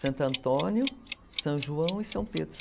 Santo Antônio, São João e São Pedro.